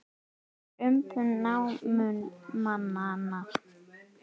Hann er umbun námumannanna.